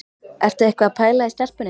Ertu eitthvað að pæla í stelpunni?